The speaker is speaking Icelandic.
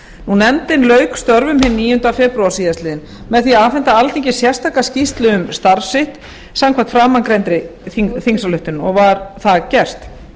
nefndin lauk störfum hinn níundi febrúar síðastliðinn með því að afhenda alþingi sérstaka skýrslu um starf sitt samkvæmt framangreindri þingsályktun og var það gert